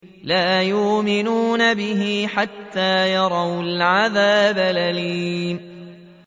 لَا يُؤْمِنُونَ بِهِ حَتَّىٰ يَرَوُا الْعَذَابَ الْأَلِيمَ